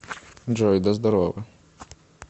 джой да здорово